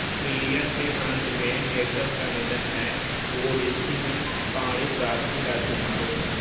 Iliad के अन्त में हेक्टर का निधन है तो ओडेसी में पाणिप्रार्थी राजकुमारों का